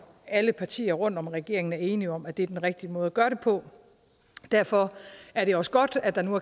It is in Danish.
alle partier rundt om regeringen er enige om at det er den rigtige måde at gøre det på og derfor er det også godt at der nu